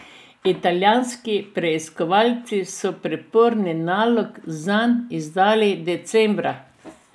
Italijanski preiskovalci so priporni nalog zanj izdali decembra.